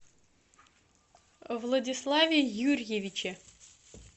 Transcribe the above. владиславе юрьевиче